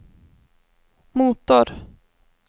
motor